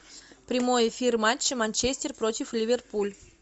прямой эфир матча манчестер против ливерпуль